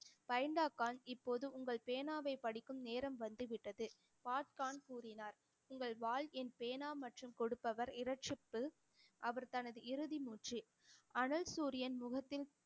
பெண்டே கான் இப்போது உங்கள் பேனாவை படிக்கும் நேரம் வந்து விட்டது பாட் கான் கூறினார் உங்கள் வாள் என் பேனா மற்றும் கொடுப்பவர் இரட்சிப்பு அவர் தனது இறுதி மூச்சு அனல் சூரியன் முகத்தில்